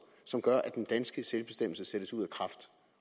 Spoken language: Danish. som gør at den danske selvbestemmelse sættes ud af kraft